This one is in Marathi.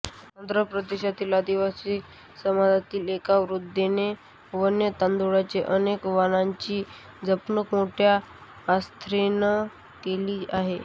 आंध्र प्रदेशातील आदिवासी समाजातील एका वृद्धेने वन्य तांदुळांच्या अनेक वाणांची जपणूक मोठ्या आस्थेन्र केली आहे